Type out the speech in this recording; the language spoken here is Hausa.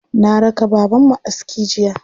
Na raka babanmu aski jiya.